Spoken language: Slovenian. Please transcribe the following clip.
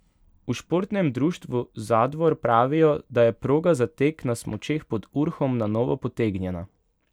V Športnem društvu Zadvor pravijo, da je proga za tek na smučeh pod Urhom na novo potegnjena.